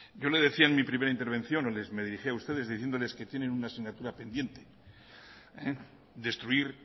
yo le decía en mi primera intervención o les me dirigía a ustedes diciéndoles que tienen una asignatura pendiente destruir